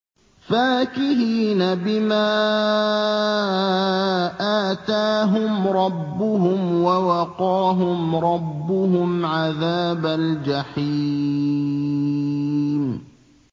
فَاكِهِينَ بِمَا آتَاهُمْ رَبُّهُمْ وَوَقَاهُمْ رَبُّهُمْ عَذَابَ الْجَحِيمِ